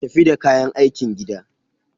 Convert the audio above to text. Tafi da kayan aikin gida.